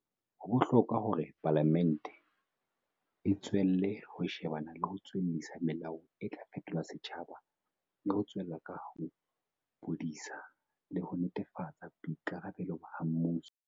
Ho bohlokwa hore Palamente e tswelle ho shebana le ho tswellisa melao e tla fetola setjhaba le ho tswella ka bodisa le ho netefatsa boikarabelo ha mmuso.